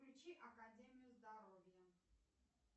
включи академию здоровья